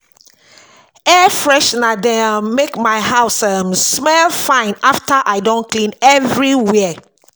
Air freshener dey um make my house um smell um fine after I don clean everywhere.